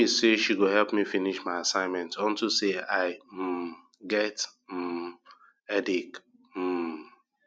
uju tell me say she go help me finish my assignment unto say i um get um headache um